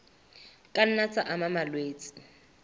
ka nna tsa ama malwetse